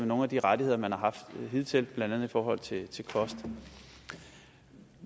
nogle af de rettigheder man har haft hidtil blandt andet i forhold til til kost